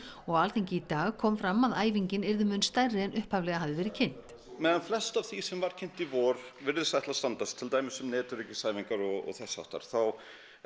og á Alþingi í dag kom fram að æfingin yrði mun stærri en upphaflega hafi verið kynnt meðan flest af því sem var kynnt í vor virðist ætla að standast til dæmis um netöryggisæfingar og þess háttar þá